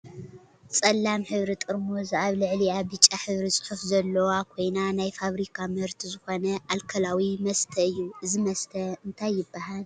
ፀላም ሕብሪ ጥርሙዝ ኣብ ልዕልይኣ ብጫ ሕብሪ ፅሑፍ ዘለዋ ዝኮይና ናይ ፋብርካ ምህርቲ ዝኮነ ኣልኮላዊ መስተ እዩ። እዙይ መስተ እንታይ ይብሃል?